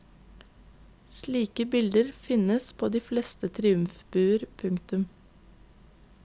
Slike bilder finnes på flere triumfbuer. punktum